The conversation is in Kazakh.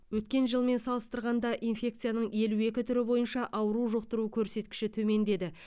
өткен жылмен салыстырғанда инфекцияның елу екі түрі бойынша ауру жұқтыру көрсеткіші төмендеді